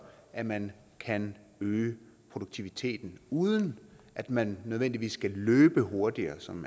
at man kan øge produktiviteten uden at man nødvendigvis skal løbe hurtigere som